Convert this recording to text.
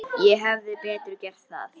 Ég hefði betur gert það.